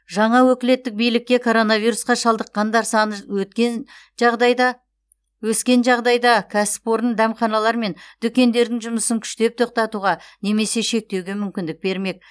жаңа өкілеттік билікке коронавирусқа шалдыққандар саны өткен жағдайда өскен жағдайда кәсіпорын дәмханалар мен дүкендердің жұмысын күштеп тоқтатуға немесе шектеуге мүмкіндік бермек